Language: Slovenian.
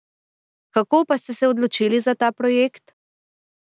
Kako pa ste se odločili za ta projekt?